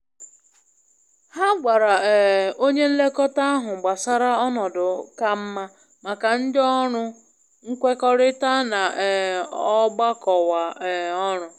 Ha gwara um onye nlekọta ahụ gbasara ọnọdụ ka mma maka ndị ọrụ nkwekọrịta na um ogbọkọwa um oru.